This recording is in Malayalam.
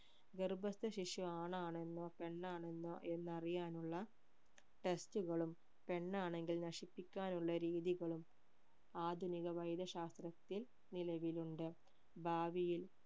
ഗർഭസ്ഥശിശു ആണാണെന്നോ പെണ്ണാണെന്നോ എന്ന് അറിയാനുള്ള test കളും പെണ്ണാണെങ്കിൽ നശിപ്പിക്കാനുള്ള രീതികളും ആധുനിക വൈദ്യശാസ്ത്രത്തിൽ നിലവിലുണ്ട് ഭാവിയിൽ